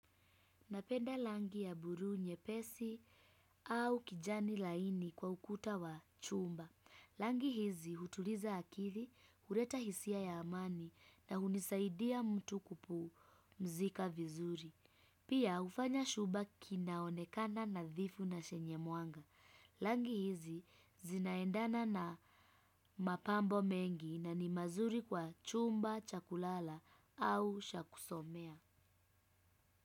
Napenda rangi ya buluu nyepesi au kijani laini kwa ukuta wa chumba. Rangi hizi hutuliza akili, huleta hisia ya amani na hunisaidia mtu kupumzika vizuri. Pia hufanya shuba kinaonekana nadhifu na chenye mwanga. Rangi hizi zinaendana na mapambo mengi na ni mazuri kwa chumba cha kulala au cha kusomea.